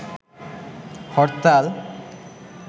হরতাল